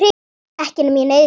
Ekki nema ég neyðist til.